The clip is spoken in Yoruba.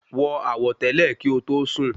Wọ àwọ̀tẹ́lẹ̀ kí o tó sùn